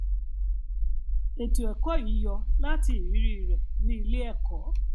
ètò ẹkọ yìí yọ láti irírí rẹ ní iléẹkọ